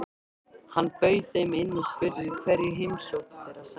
Hann bauð þeim inn og spurði hverju heimsókn þeirra sætti.